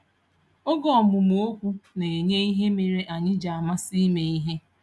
Oge ọmụmụ okwu na-enye ihe mere anyị ji amasị ime ihe.